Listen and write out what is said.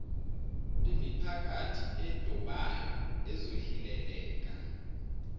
lemiphakathi edobayo ezohileleka